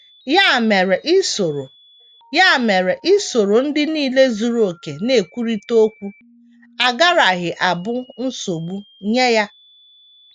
Ya mere isoro Ya mere isoro ndị nile zuru okè na - ekwurịta okwu agaraghị abụ nsogbu nye ya.